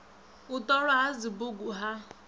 u ṱolwa ha dzibugu ha